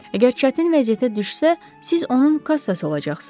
Əgər çətin vəziyyətə düşsə, siz onun kassası olacaqsınız.